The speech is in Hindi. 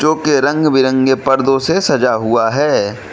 जो के रंग बिरंगे पर्दों से सजा हुआ है।